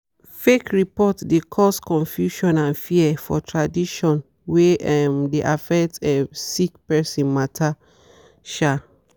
fake report de cause confusion and fear for tradition wey um de affect um sick person matter. um